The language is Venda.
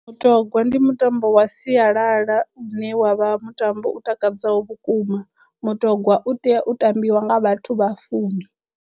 Mutogwa ndi mutambo wa sialala une wavha mutambo u takadzaho vhukuma. Mutongwa u tea u tambiwa nga vhathu vha fumi.